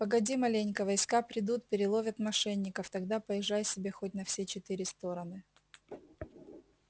погоди маленько войска придут переловят мошенников тогда поезжай себе хоть на все четыре стороны